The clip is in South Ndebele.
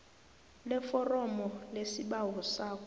leforomo lesibawo sakho